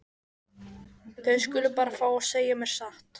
Þau skulu bara fá að segja mér satt.